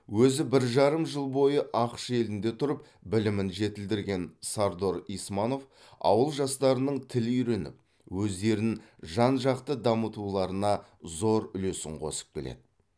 өзі бір жарым жыл бойы ақш елінде тұрып білімін жетілдірген сардор исманов ауыл жастарының тіл үйреніп өздерін жан жақты дамытуларына зор үлесін қосып келеді